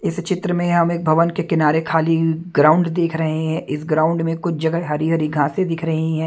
इस चित्र में हमें एक भवन के किनारे खाली हुई ग्राउंड दिख रही हैं इस ग्राउंड में कुछ जगह हरी-हरी घासें दिख रहे हैं।